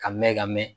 Ka mɛn ka mɛɛn